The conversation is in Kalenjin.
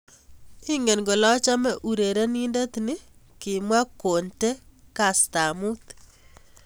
Ingine kole achome urerenindet ni, kimwa Conte kastab mut.